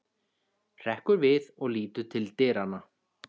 Hrekkur við og lítur til dyranna.